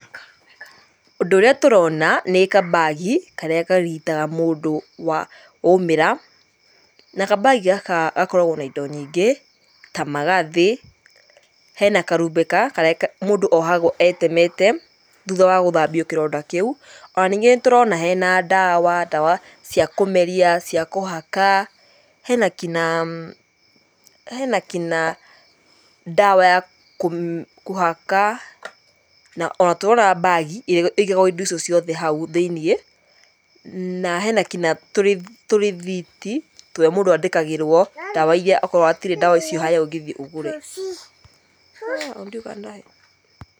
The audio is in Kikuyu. Ũndũ ũrĩa tũrona nĩ kambagi karĩa karigitaga mũndũ waumĩra, na kambagi gaka gakoragwo na indo nyingi, ta magathĩ, hena karumbeka karĩa mũndũ ohagwo etemete thutha wa gũthambio kĩronda kĩu. Ona ningĩ nĩtũrona hena ndawa, ndawa cia kũmeria cia kũhaka, hena kinyaa, hena kinya ndawa ya kũhaka, na ona tũrona mbagi ĩrĩa ĩigagwo indo ici ciothe hau thĩiniĩ, na hena kinya tũrĩthiti tũrĩa mũndũ andĩkagĩrwo ndawa iria akorwo hatirĩ ndawa icio harĩa ũngĩthiĩ ũgũre.